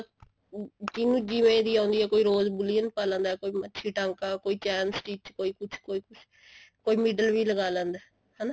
ਜਿਨੂੰ ਜਿਵੇਂ ਦੀ ਵੀ ਆਉਂਦੀ ਹੈ rose ਬੂਲੀਅਨ ਪਾ ਲਿੰਦਾ ਕੋਈ ਮੱਛੀ ਟਾਂਕਾ ਕੋਈ ਚੈਮ stich ਕੋਈ ਕੁੱਝ ਕੋਈ ਕੁੱਝ ਕੋਈ middle ਵੀ ਲਗਾ ਲੈਂਦਾ ਹਨਾ